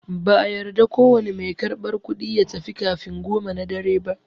No cashier is allowed to leave before 10am.